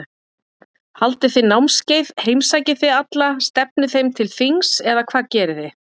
Haldið þið námskeið, heimsækið þið alla, stefnið þeim til þings eða hvað gerið þið?